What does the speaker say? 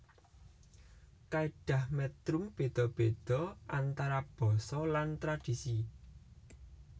Kaidah metrum beda beda antara basa lan tradhisi